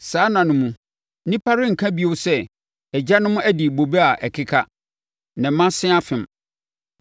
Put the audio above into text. Saa nna no mu, nnipa renka bio sɛ, “ ‘Agyanom adi bobe a ɛkeka, na mma se afem.’